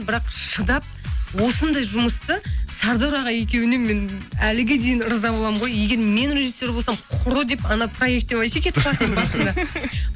бірақ шыдап осындай жұмысты сардор аға екеуіне мен әліге дейін риза боламын ғой егер мен режиссер болсам құры деп анау проектен вообще кетіп қалатын едім басында